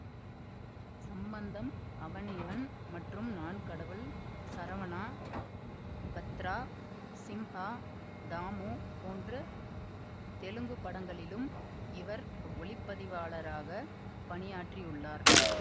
சம்பந்தம் அவன் இவன் மற்றும் நான் கடவுள் சரவணா பத்ரா சிம்ஹா தாமு போன்ற தெலுங்கு படங்களிலும் இவர் ஒளிப்பதிவாளராக பணியாற்றியுள்ளார்